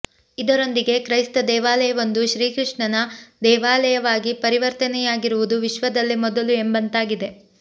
ಇದರೊಂದಿಗೆ ಕ್ರೈಸ್ತ ದೇವಾಲಯವೊಂದು ಶ್ರೀಕೃಷ್ಣನ ದೇವಾಲಯವಾಗಿ ಪರಿವರ್ತನೆಯಾಗಿರುವುದು ವಿಶ್ವದಲ್ಲೇ ಮೊದಲು ಎಂಬಂತಾಗಿದೆ